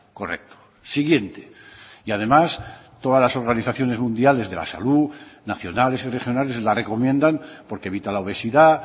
correcto siguiente y además todas las organizaciones mundiales de la salud nacionales y regionales la recomiendan porque evita la obesidad